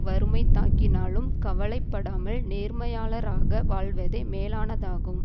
வறுமை தாக்கினாலும் கவலை படாமல் நேர்மையாளராக வாழ்வதே மேலானதாகும்